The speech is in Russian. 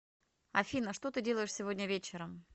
афина что ты делаешь сегодня вечером